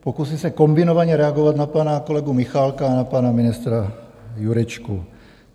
Pokusím se kombinovaně reagovat na pana kolegu Michálka a na pana ministra Jurečku.